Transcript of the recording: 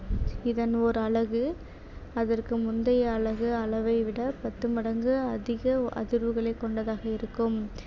இதன் ஓர் அலகு அதற்கு முந்தைய அலகு அளவை விடப் பத்து மடங்கு அதிக அதிர்வுகளைக் கொண்டதாக இருக்கும்